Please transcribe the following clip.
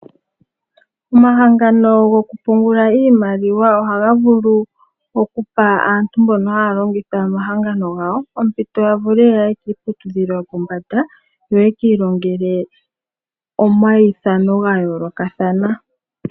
Omahangano gokupungula iimaliwa, ohaga vulu okupa aantu mbono haya longitha omahangano gawo, ompito yavule yaye kiiputudhilo yopombanda, yo yekii longele omaithano gayoolokathana.